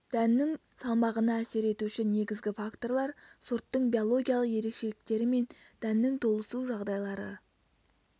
дәннің салмағына әсер етуші негізгі факторлар сорттың биологиялық ерекшеліктері мен дәннің толысу жағдайлары